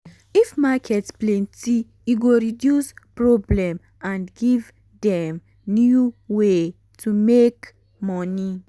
if market plenty e go reduce problem and give dem new way to take make money.